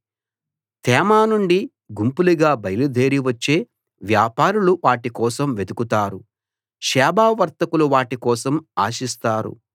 తేమా నుండి గుంపులుగా బయలు దేరి వచ్చే వ్యాపారులు వాటి కోసం వెతుకుతారు షేబ వర్తకులు వాటి కోసం ఆశిస్తారు